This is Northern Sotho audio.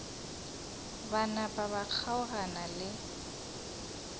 ba napa ba kgaogana le